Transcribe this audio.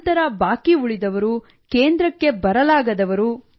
ನಂತರ ಬಾಕಿ ಉಳಿದವರು ಕೇಂದ್ರಕ್ಕೆ ಬರಲಾಗದವರು